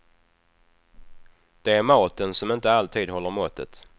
Det är maten som inte alltid håller måttet.